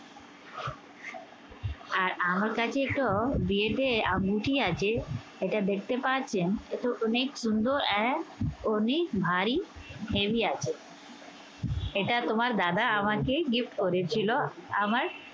আর আমার কাছেতো বিয়েতে আঙ্গুঠি আছে। এটা দেখতে পারছেন, এটা অনেক সুন্দর আর অনেক ভারী heavy আছে। এটা তোমার দাদা আমাকে gift করেছিল। আমার